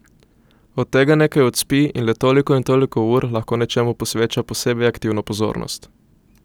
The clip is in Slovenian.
Od tega nekaj odspi in le toliko in toliko ur lahko nečemu posveča posebej aktivno pozornost.